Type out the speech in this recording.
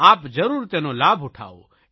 આપ જરૂર તેનો લાભ ઉઠાવો